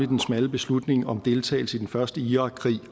den smalle beslutning om deltagelse i den første irakkrig